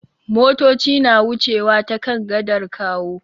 Motoci na wucewa ta kan gadar Kawo.